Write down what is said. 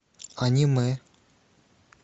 аниме